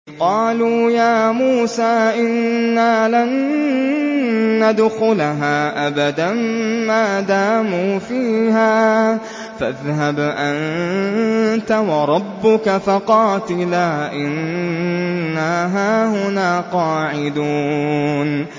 قَالُوا يَا مُوسَىٰ إِنَّا لَن نَّدْخُلَهَا أَبَدًا مَّا دَامُوا فِيهَا ۖ فَاذْهَبْ أَنتَ وَرَبُّكَ فَقَاتِلَا إِنَّا هَاهُنَا قَاعِدُونَ